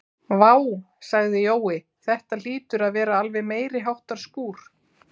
Vá sagði Jói, þetta hlýtur að vera alveg meiriháttar skúr